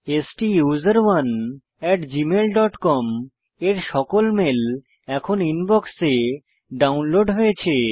স্টুসেরনে gmailকম এর সকল মেল এখন ইনবক্সে ডাউনলোড হয়েছে